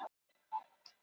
Hún var síung og hress.